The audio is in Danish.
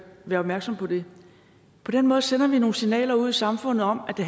være opmærksom på det på den måde sender vi nogle signaler ud i samfundet om at det